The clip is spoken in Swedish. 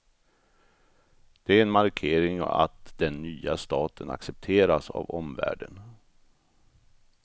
Det är en markering att den nya staten accepteras av omvärlden.